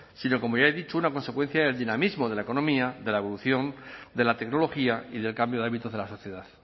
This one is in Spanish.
sino como ya he dicho una consecuencia del dinamismo de la economía de la evolución de la tecnología y del cambio de hábitos de la sociedad